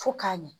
Fo k'a ɲɛ